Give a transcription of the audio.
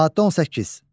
Maddə 18.